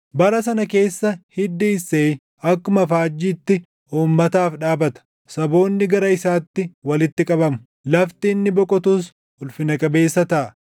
Bara sana keessa hiddi Isseey akkuma faajjiitti uummataaf dhaabata; saboonni gara isaatti walitti qabamu; lafti inni boqotus ulfina qabeessa taʼa.